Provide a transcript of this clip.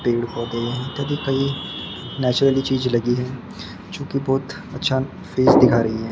पेड़ पौधे यहां का दिखाई नेचुरली चीज लगी हैं जो कि बहोत अच्छा फेस दिखा रही हैं।